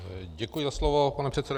Děkuji za slovo, pane předsedo.